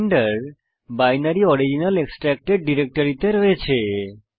Blender binary original extracted ডিরেক্টরিতে রয়েছে